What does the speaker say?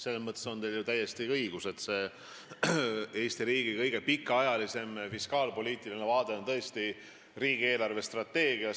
Selles mõttes on teil ju täiesti õigus, et Eesti riigi kõige pikaajalisem fiskaalpoliitiline vaade on tõesti riigi eelarvestrateegia.